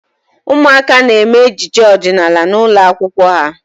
Ụmụaka na-eme ejije ọdịnaala n'ụlọ akwụkwọ ha.